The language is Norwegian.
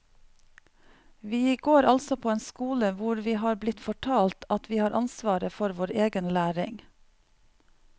Vi går altså på en skole hvor vi har blitt fortalt at vi har ansvaret for vår egen læring.